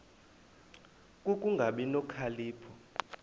ku kungabi nokhalipho